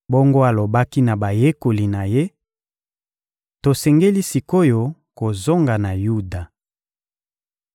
Bongo alobaki na bayekoli na Ye: — Tosengeli sik’oyo kozonga na Yuda.